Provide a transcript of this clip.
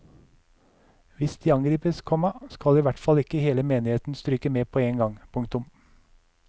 Hvis de angripes, komma skal i hvert fall ikke hele menigheten stryke med på én gang. punktum